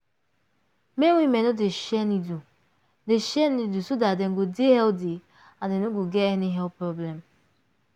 make women no dey share needle dey share needle so dat dem go dey healthy and dem no go get health problem